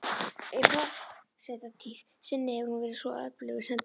Í forsetatíð sinni hefur hún verið svo öflugur sendiherra